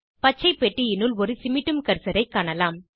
பச்சைப் பெட்டியினுள் ஒரு சிமிட்டும் கர்சரைக் காணலாம்